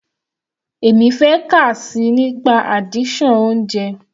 Èmi fẹ́ kà síi nípa addiction oúnjẹ.